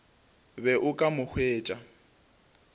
be o ka mo hwetša